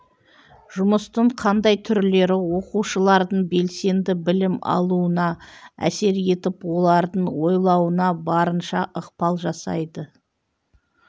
жұмыстың қандай түрлері оқушылардың белсенді білім алуына әсер етіп олардың ойлауына барынша ықпал жасайды